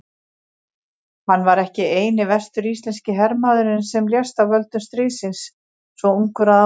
Hann var ekki eini vestur-íslenski hermaðurinn sem lést af völdum stríðsins svo ungur að árum.